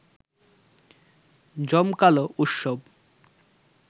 জমকালো উৎসব